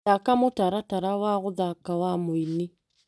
Thaka mũtaratara wa gũthaka wa mũini.